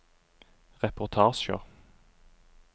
reportasjer